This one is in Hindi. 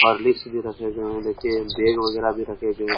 होर्लिक्स भी गए हैं और देखिये बैग वगैरह भी रखे गए हैं।